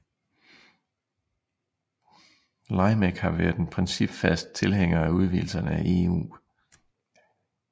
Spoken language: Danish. LYMEC har været principfast tilhænger af udvidelserne af EU